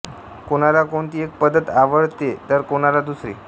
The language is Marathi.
कोणाला कोणती एक पद्धत आवडते तर कोणाला दुसरी